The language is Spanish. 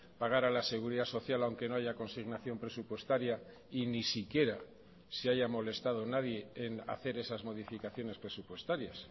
pagar a la seguridad social aunque no haya consignación presupuestaria y ni siquiera se haya molestado nadie en hacer esas modificaciones presupuestarias